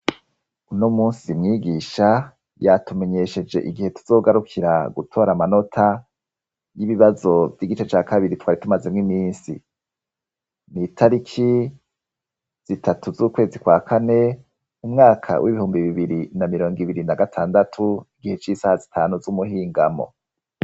Uno munsi mwigisha yatumenyesheje igihe tuzogarukira gutora amanota y'ibibazo by'igice cya kabiri twari tumaze mw iminsi nitariki zitatu z'ukwezi kwa kane umwaka w'ibihumbi bibiri na mirongo ibiri na gatandatu igihe cy'isaha zitanu z'umuhingamo.